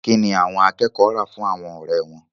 Kí ni àwọn akẹ́kọ̀ọ́ rà fún àwọn ọ̀rẹ́ wọn?